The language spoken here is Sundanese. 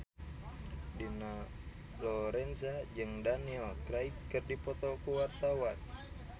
Dina Lorenza jeung Daniel Craig keur dipoto ku wartawan